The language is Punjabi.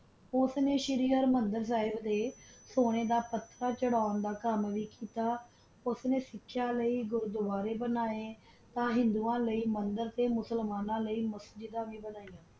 ਓਸ ਨਾ ਸ਼ਹਿਰ ਮੰਦਰ ਦਾ ਸੀੜੇ ਤਾ ਸੋਨਾ ਦਾ ਪਥੇਰ ਚਾਰਾਂ ਦਾ ਕਾਮ ਕੀਤਾ ਓਸ ਨਾ ਸਿਖਾ ਲੀ ਗੁਰਦਵਾਰਾ ਬਨਵਾ ਹਿੰਦਿਓ ਲੀ ਮੰਦਰ ਤਾ ਮੁਲਾਮਾਂ ਲੀ ਮਸਜਦਾ ਬਨਵਾ